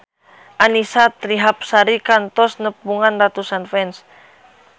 Annisa Trihapsari kantos nepungan ratusan fans